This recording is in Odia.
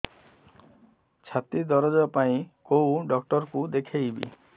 ଛାତି ଦରଜ ପାଇଁ କୋଉ ଡକ୍ଟର କୁ ଦେଖେଇବି